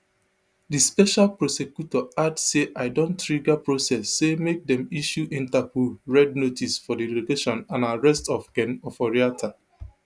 di special prosecutor add say i don trigger process say make dem issue interpol red notice for di location and arrest of ken oforiatta